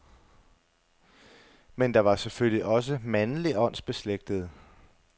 Men der var selvfølgelig også mandlige åndsbeslægtede.